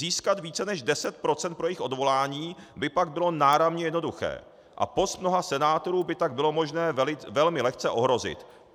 Získat více než 10 % pro jejich odvolání by pak bylo náramně jednoduché a post mnoha senátorů by tak bylo možné velmi lehce ohrozit."